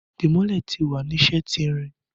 Dimole ti wa ni ṣe ti irin